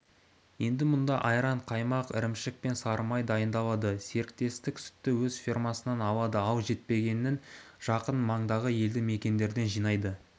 енді мұнда айран қаймақ ірімшік пен сары май дайындалады серіктестік сүтті өз фермасынан алады ал жетпегенін жақын маңдағы елді мекендерден жинайды